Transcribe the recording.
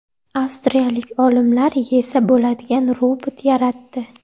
Avstriyalik olimlar yesa bo‘ladigan robot yaratdi.